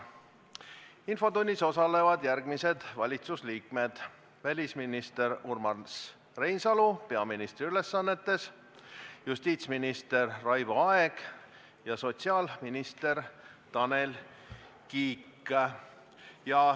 Infotunnis osalevad järgmised valitsusliikmed: välisminister Urmas Reinsalu peaministri ülesannetes, justiitsminister Raivo Aeg ja sotsiaalminister Tanel Kiik.